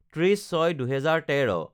৩০/০৬/২০১৩